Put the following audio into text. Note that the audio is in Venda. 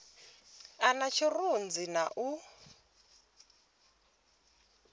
a na tshirunzi na u